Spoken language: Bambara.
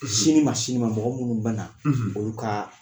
Sini ma sini ma mɔgɔ minnu bɛ na, , olu ka